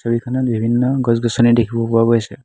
ছবিখনত বিভিন্ন গছ-গছনি দেখিব পোৱা গৈছে।